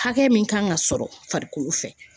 Hakɛ min kan ka sɔrɔ farikolo fɛ